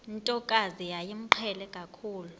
ntokazi yayimqhele kakhulu